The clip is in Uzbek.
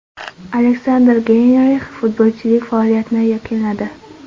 Aleksandr Geynrix futbolchilik faoliyatini yakunladi.